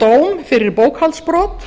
dóm fyrir bókhaldsbrot